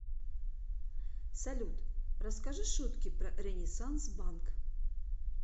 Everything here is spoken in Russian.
салют расскажи шутки про ренессанс банк